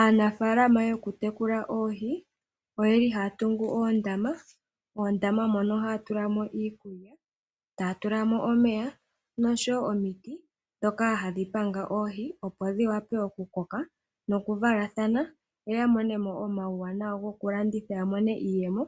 Aanafaalama yokutekula oohi oyeli haya tungu oondama, moondama mono ohaya tula mo iikulya, taya tula mo nomeya oshowo omiti dhoka hadhi panga oohi opo dhi wape okukoka nokuvalathana yo yamone mo uuwanawa oshowo iiyemo